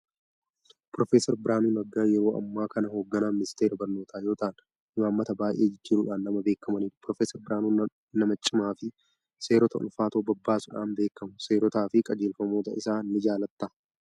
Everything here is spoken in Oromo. Piroofeesar Biraanuun Naggaa yeroo ammaa kana hogganaa ministeera barnoota yoo ta'an, imaammata baay'ee jijjiiruudhaan nama beekamanidha. Piroofeeser Biraanuun nama cimaa fi seerota ulfaatoo babbaasuudhaan beekamu. Seeerotaa fi qajeelfamoota isaa ni jaalattaa?